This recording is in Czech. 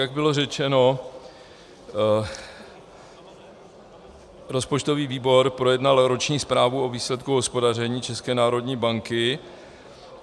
Jak bylo řečeno, rozpočtový výbor projednal roční zprávu o výsledku hospodaření České národní banky.